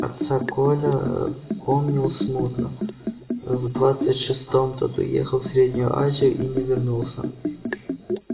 отца коля помнил смутно в двадцать шестом тот уехал в среднюю азию и не вернулся